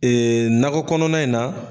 Ee nakɔ kɔnɔna in na